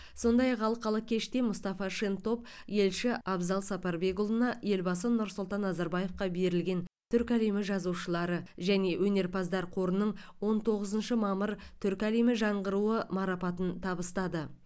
сондай ақ алқалы кеште мұстафа шентоп елші абзал сапарбекұлына елбасы нұрсұлтан назарбаевқа берілген түркі әлемі жазушылары және өнерпаздар қорының он тоғызыншы мамыр түркі әлемі жаңғыруы марапатын табыстады